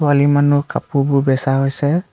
ছোৱালী মানুহ কাপোৰবোৰ বেছা হৈছে।